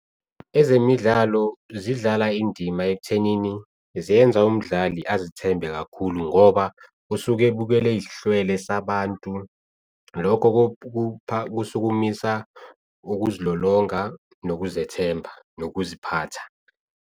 Ezemidlalo zidlala indima ekuthenini ziyenza umdlali azithembe kakhulu ngoba usuke ebukela eyis'hlwele sabantu. Lokho kusukumisa ukuzilolonga, nokuzethemba, nokuziphatha.